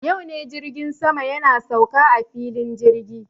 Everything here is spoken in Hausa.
Yau ne jirgin sama yana sauka a filin jirgi.